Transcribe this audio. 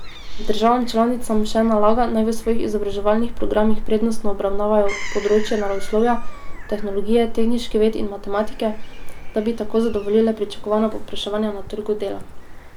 Državam članicam še nalaga, naj v svojih izobraževalnih programih prednostno obravnavajo področja naravoslovja, tehnologije, tehniških ved in matematike, da bi tako zadovoljile pričakovana povpraševanja na trgu dela.